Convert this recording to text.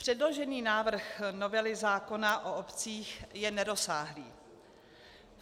Předložený návrh novely zákona o obcích je nerozsáhlý.